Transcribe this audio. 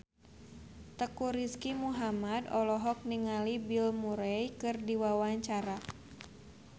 Teuku Rizky Muhammad olohok ningali Bill Murray keur diwawancara